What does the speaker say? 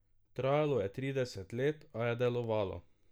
Trajalo je trideset let, a je delovalo.